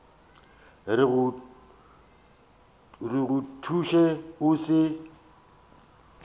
re go thuše o se